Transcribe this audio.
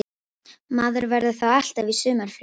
Maður verður þá alltaf í sumarfríi